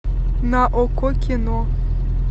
на окко кино